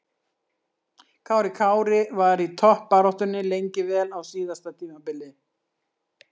Kári Kári var í toppbaráttunni lengi vel á síðasta tímabili.